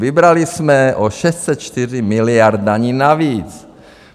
Vybrali jsme o 604 miliard daní navíc.